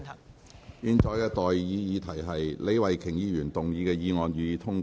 我現在向各位提出的待議議題是：李慧琼議員動議的議案，予以通過。